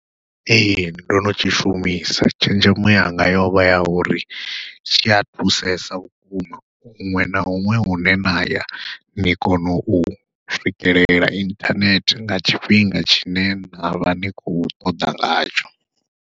Ee ndo no tshishumisa tshenzhemo yanga yovha ya uri tshi a thusesa vhukuma, huṅwe na huṅwe hune na ya nia kona u swikelela inthanethe nga tshifhinga tshine navha ni khou ṱoḓa ngatsho.